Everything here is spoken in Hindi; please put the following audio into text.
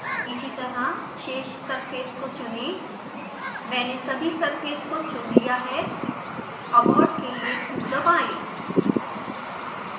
इसीतरह शेष सर्फेस को चुनें मैंने सभी सर्फेस को चुन लिया है abort के लिए q दबाएँ